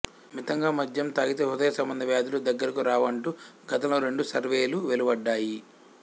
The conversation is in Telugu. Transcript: మితంగా మధ్యం తాగితే హృదయ సంబంధ వ్యాధులు దగ్గరకు రావంటూ గతంలో రెండు సర్వేలు వెలువడ్డాయి